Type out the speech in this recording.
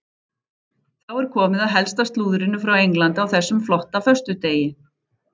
Þá er komið að helsta slúðrinu frá Englandi á þessum flotta föstudegi.